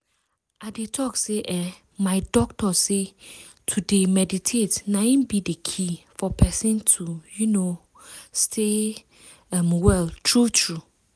i dey talk say eeh my doctors say to dey meditate na in be the key for person to um stay um well true true.